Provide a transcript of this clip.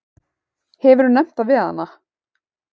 Hefurðu nefnt það við hana?